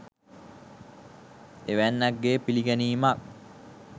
එවැන්නන්ගේ පිළිගැනීම